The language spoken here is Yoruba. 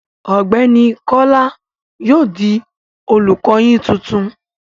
Ọ̀gbẹ́ni Kọ́lá yóò di olùkọ yín titun.